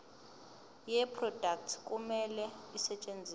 yeproduct kumele isetshenziswe